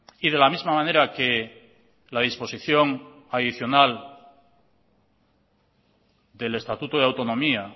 y de la misma manera que la disposición adicional del estatuto de autonomía